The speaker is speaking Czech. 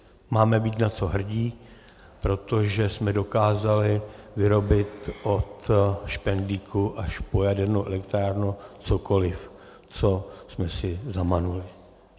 Máme být na co hrdí, protože jsme dokázali vyrobit od špendlíku až po jadernou elektrárnu cokoliv, co jsme si zamanuli.